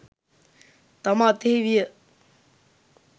තම අතෙහි විය.